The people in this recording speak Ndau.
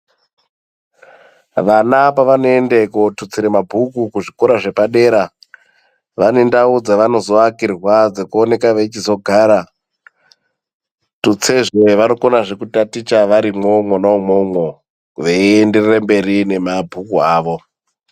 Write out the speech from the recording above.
Vana pavano ende ko tutsire mabhuku ku zvikora zvepa dera vane ndau dzavanozo akirwa dzeku oneka veichizo gara tutse zvee vanokona zve kutaticha varimwo mwona mwomwo vei enderere mberi ne mabhuku awo.